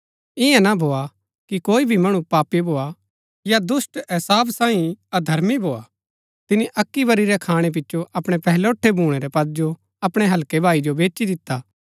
इन्या ना भोआ कि कोई भी मणु पापी भोआ या दुष्‍ट एसाव सांईं अधर्मी भोआ तिनी अक्की बरी रै खाणै पिचो अपणै पहलौठै भूणै रै पद जो अपणै हल्कै भाई जो बेची दिता